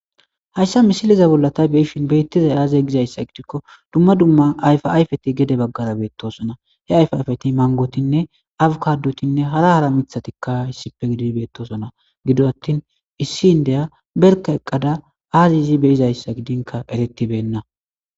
Haysa missileza bola ta be'ashe betizay aze gizaysa gidiko duma duma ayfa ayfeti gede bagara betosona he ayfa ayfeti mangotnne avkadotinne hara hara mitatika issipe gididi betosona gido atin issi indiya berka eqada azi izi be'izaysa gidinka eretibenna.